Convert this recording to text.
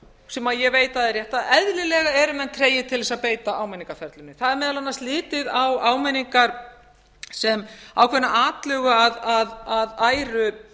sem ég veit að er rétt að eðlilega eru menn tregir til þess að beita áminningarferlinu það er að litið á áminningar sem ákveðna atlögu að æru